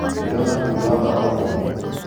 Nĩndona bundi wa mbaũ ũmũthĩ